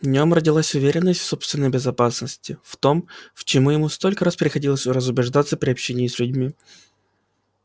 в нём родилась уверенность в собственной безопасности в том в чему ему столько раз приходилось разубеждаться при общении с людьми